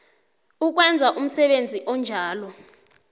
ukwenza umsebenzi onjalo